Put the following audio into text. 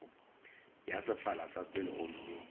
ya sefala ka pela gomme